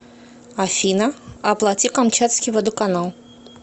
афина оплати камчатский водоканал